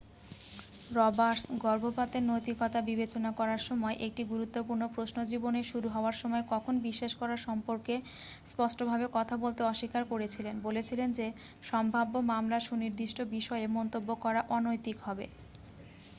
Roberts গর্ভপাতের নৈতিকতা বিবেচনা করার সময় একটি গুরুত্বপূর্ণ প্রশ্নজীবনের শুরু হওয়ার সময় কখন বিশ্বাস করার সম্পর্কে স্পষ্টভাবে কথা বলতে অস্বীকার করেছিলেন বলেছিলেন যে সম্ভাব্য মামলার সুনির্দিষ্ট বিষয়ে মন্তব্য করা অনৈতিক হবে